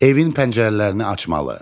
Evin pəncərələrini açmalı.